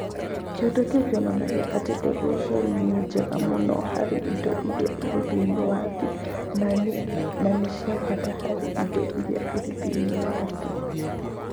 Kĩndũ kĩu kĩonanagia atĩ mbegũ icio nĩ njega mũno harĩ indo iria irĩ thĩinĩ wa thĩ na nĩ cia bata harĩ indo iria irĩ thĩinĩ wa thĩ.